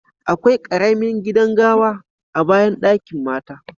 Akwai karemin gidan gawa a'bayan dakin mata.